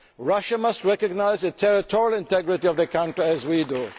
Russia must recognise the territorial integrity of the country, as we do.